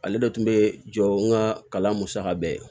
Ale de tun bɛ jɔ n ka kalan musaka bɛɛ ye